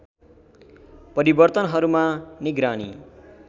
परिवर्तनहरूमा निगरानी